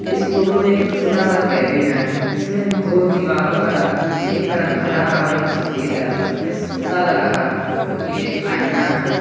इस फोटो में एक छोटा सा केबिन है जिसमें दो दीवारों का रंग एक का रंग हरा है और एक सफेद है और उसमें सीसा लगा है जोकि एक आईना है।